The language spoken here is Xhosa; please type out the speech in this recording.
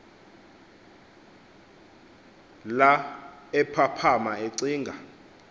la ephaphama ecinga